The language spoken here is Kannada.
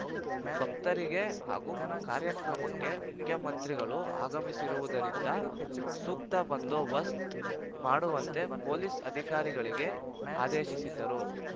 ಭಕ್ತರಿಗೆ ಹಾಗೂ ಕಾರ್ಯಕ್ರಮಕ್ಕೆ ಮುಖ್ಯಮಂತ್ರಿಗಳು ಆಗಮಿಸುವುದರಿಂದ ಸೂಕ್ತ ಬಂದೋಬಸ್ತ್ ಮಾಡುವಂತೆ ಪೊಲೀಸ್‌ ಅಧಿಕಾರಿಗಳಿಗೆ ಆದೇಶಿಸಿದರು